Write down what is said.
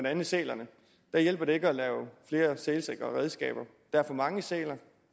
andet sælerne her hjælper det ikke at lave flere sælsikre redskaber der er for mange sæler